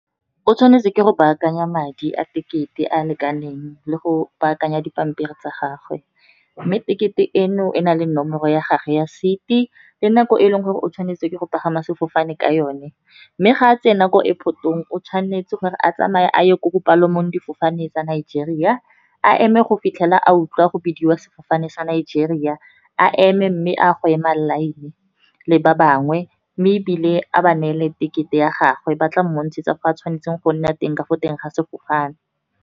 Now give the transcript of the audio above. O tshwanetse ke go baakanya madi a tekete a a lekaneng, le go baakanya dipampiri tsa gagwe. Mme tekete eno e na le nomoro ya gagwe ya seat-i, le nako e e leng gore o tshwanetse ke go pagama sefofane ka yone. Mme ga a tsena ko airport-ong, o tshwanetse gore a tsamaye a ye ko bopalomo difofane tsa Nigeria, a eme go fitlhela a utlwa go bidiwa sefofane sa Nigeria. A eme mme a go ema line le ba bangwe, mme ebile a ba neele tekete ya gagwe, batla montshetsa ko a tshwanetseng go nna teng ka fo teng ga sefofane.